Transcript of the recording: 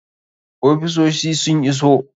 Ofisosi sun iso.